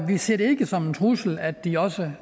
vi ser det ikke som en trussel at de også